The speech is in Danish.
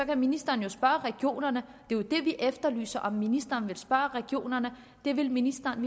ministeren spørge regionerne det jo det vi efterlyser om ministeren vil spørge regionerne det vil ministeren